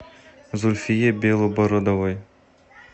зульфие белобородовой